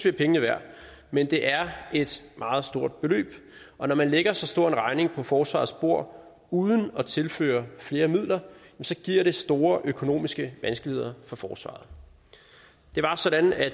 er pengene værd men det er et meget stort beløb og når man lægger så stor en regning på forsvarets bord uden at tilføre flere midler giver det store økonomiske vanskeligheder for forsvaret det var sådan at